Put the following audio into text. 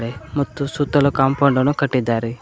ಮತ್ತು ಸುತ್ತಲೂ ಕಾಂಪೌಂಡ್ ನ್ನು ಕಟ್ಟಿದಾರೆ.